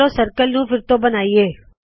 ਚਲੋ ਸਰਕਲ ਨੂ ਫੇਰ ਤੋ ਬਨਾਇਏ